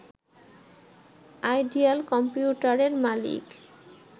ideal কম্পিউটারের মালিক